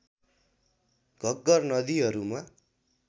घग्घर नदीहरूमा